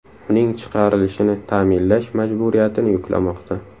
Uning chiqarilishini ta’minlash majburiyatini yuklamoqda.